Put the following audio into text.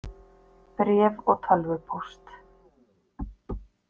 Bréf og tölvupóst.